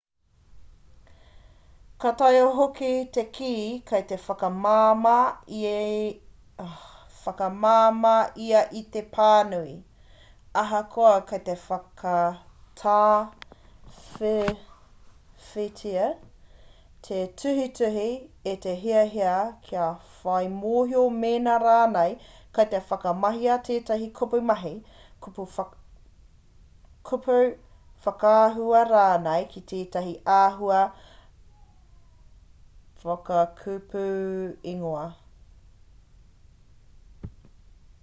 ka taea hoki te kī kei te whakamāmā ia i te pānui ahakoa kei te whakatāwhiwhitia te tuhituhi e te hiahia kia whai mōhio mēnā rānei kei te whakamahia tētahi kupu mahi kupu whakaahua rānei ki tētahi āhua whakakupuingoa